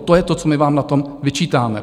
A to je to, co my vám na tom vyčítáme.